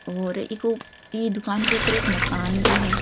और इको इ दुकान के ऊपर एक मकान भी है।